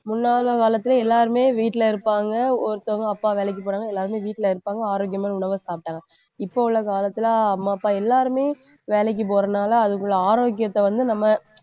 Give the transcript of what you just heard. முன்னால காலத்தில எல்லாருமே வீட்டில இருப்பாங்க ஒருத்தங்க அப்பா வேலைக்குப் போனாங்க, எல்லாருமே வீட்டில இருப்பாங்க, ஆரோக்கியமான உணவைச் சாப்பிட்டாங்க. இப்ப உள்ள காலத்தில அம்மா அப்பா எல்லாருமே வேலைக்குப் போறதுனால அதுக்குள்ள ஆரோக்கியத்தை வந்து நம்ம